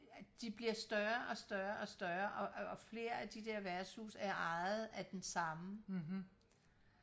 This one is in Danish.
de bliver større og større og større og og flere af de der værtshuse er ejet af den samme